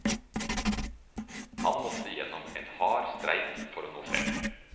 Han måtte igjennom en hard streik for å nå frem.